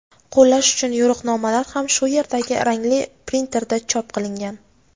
qo‘llash uchun yo‘riqnomalar ham shu yerdagi rangli printerda chop qilingan.